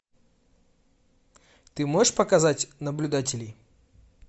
ты можешь показать наблюдатель